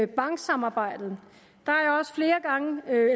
banksamarbejdet